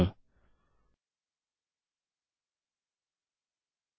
और मैं वेल्यू के रूप में यहाँ मेल होस्ट करता हूँ